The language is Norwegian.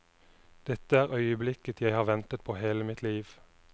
Dette er øyeblikket jeg har ventet på hele mitt liv.